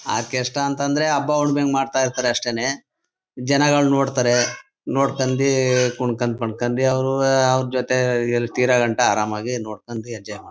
Orchestra ಅಂತ ಅಂದ್ರೆ ಹಬ್ಬ ಊನವೆ ಗೆ ಮಾಡ್ತಾ ಇರ್ತಾರೆ ಅಷ್ಟೇನೆ ಜನಗಳ್ ನೋಡ್ತಾರೆ ನೋಡ್ಕೊಂಡೀ ಕುನ್ಕೋಡ್ ಪಂಕೊಂಡ್ ಅವರುವೆ ಅವರ ಜೊತೆ ಎಲ್ ತೀರಗಂಟ ಆರಾಮಾಗಿ ನೋಡ್ಕೊಂಡಿ ಎಂಜಾಯ್ ಮಾಡ್ತಾರೆ.